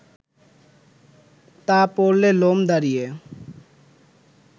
তা পড়লে লোম দাঁড়িয়ে